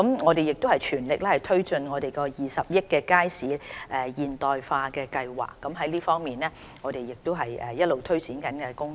我們亦全力推進20億元的"街市現代化計劃"，這亦是我們一直推展中的工作。